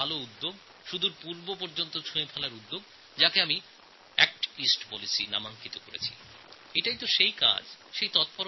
দিল্লি থেকে দূরে পূর্ব পর্যন্ত যাওয়ার প্রচেষ্টা যাকে আমি অ্যাক্ট ইস্ট পলিসি বলছি এটা এগিয়ে নিয়ে যাওয়া দরকার